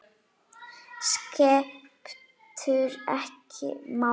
Skiptir ekki máli.